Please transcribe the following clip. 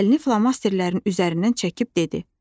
Əlini flomasterlərin üzərindən çəkib dedi: